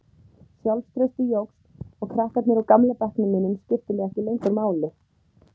Sjálfstraustið jókst og krakkarnir úr gamla bekknum mínum skiptu mig ekki lengur máli.